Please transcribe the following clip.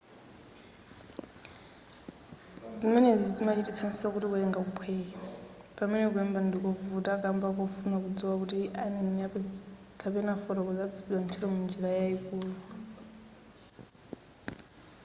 zimenezi zimachititsanso kuti kuwerenga kuphweke pamene kulemba ndikovuta kamba kofuna kudziwa kuti aneni kapena afotokozi agwiritsidwa ntchito m'njira yayikulu